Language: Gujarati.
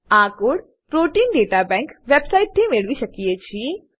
આ code protein data bank website થી મેળવી શકીએ છીએ